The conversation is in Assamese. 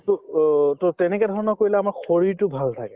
to অ to তেনেকে ধৰণৰ কৰিলে আমাৰ শৰীৰটো ভাল থাকে